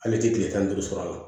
Ale tɛ tile tan ni duuru sɔrɔ a la